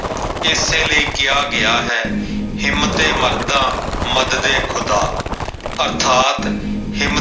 ਇਸੇ ਲਈ ਕਿਹਾ ਗਿਆ ਹੈ ਹਿੰਮਤੇ ਮਰਦਾ ਮਦਦ ਏ ਖੁਦਾ ਅਰਥਾਤ ਹਿੰਮ